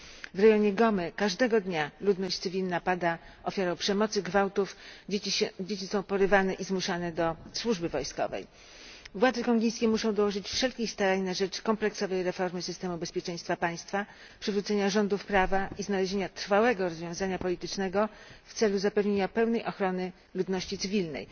W rejonie Gomy, każdego dnia ludność cywilna pada ofiarą przemocy, gwałtów, a dzieci są porywane i zmuszane do służby wojskowej. Władze kongijskie muszą dołożyć wszelkich starań na rzecz kompleksowej reformy systemu bezpieczeństwa państwa, przywrócenia rządów prawa i znalezienia trwałego rozwiązania politycznego w celu zapewnienia pełnej ochrony ludności cywilnej.